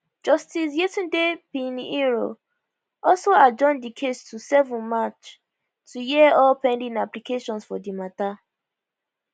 justice yetunde pinheiro also adjourn di case to 7 march to hear all pending applications for di mata